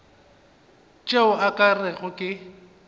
tšeo o ka rego ke